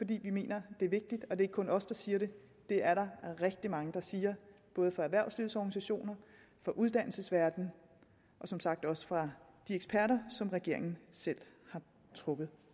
vi mener det er vigtigt og det er ikke kun os der siger det det er der rigtig mange der siger både fra erhvervslivets organisationer fra uddannelsesverdenen og som sagt også fra de eksperter som regeringen selv har trukket